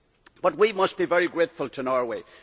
But we must be very grateful to Norway.